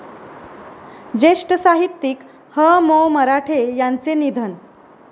ज्येष्ठ साहित्यिक ह.मो.मराठे यांचे निधन